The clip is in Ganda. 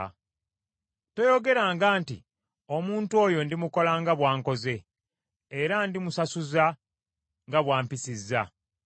Toyogeranga nti, “Omuntu oyo ndimukola nga bw’ankoze, era ndimusasuza nga bw’ampisizza.”